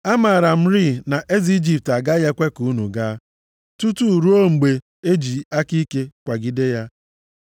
Amaara m rịị na eze Ijipt agaghị ekwe ka unu gaa, tutu ruo mgbe e ji aka ike kwagide ya.